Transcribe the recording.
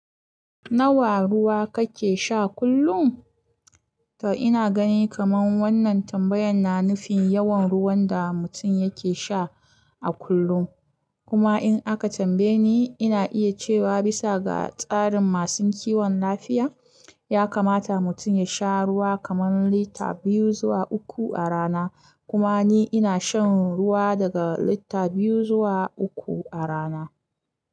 Nawa ruwa kake sha kullum? To ina gani kaman wannan tambayan na nufin yawan ruwan da mutum yake sha a kullum. Kuma in aka tambaye ni, ina iya cewa bisa ga tsarin masu kiwon lafiya, ya kamata mutum ya sha ruwa kaman lita biyu zuwa uku a rana. Kuma ni ina shan ruwa daga lita biyu zuwa uku a rana.